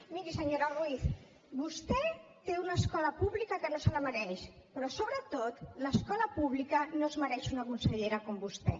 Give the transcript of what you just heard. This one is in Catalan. miri senyora ruiz vostè té una escola pública que no se la mereix però sobretot l’escola pública no es mereix una consellera com vostè